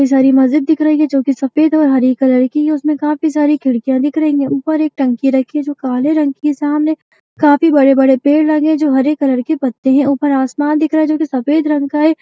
ये सारी मस्जिद दिख रही है जो की सफ़ेद और हरे कलर की है उसमें काफी सारी खिड़कियाँ दिख रही हैं ऊपर एक टंकी रखी है जो काले रंग की है सामने काफी बड़े-बड़े पेड़ लगे हैं जो हरे कलर के पत्ते हैं उपर आसमान दिख रहा है जो कि सफ़ेद रंग का है।